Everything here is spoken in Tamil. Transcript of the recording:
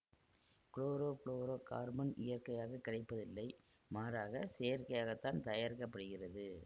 குளோரோ ஃபுளோரோ கார்பன் இயற்கையாகக் கிடைப்பதில்லை மாறாக செயற்கையாகத்தான் தயாரிக்க படுகிறது